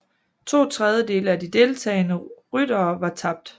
To tredjedele af de deltagende ryttere var tabt